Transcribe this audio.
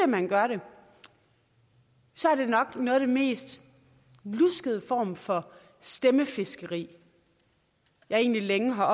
man gør det så er det nok noget af den mest luskede form for stemmefiskeri jeg egentlig længe har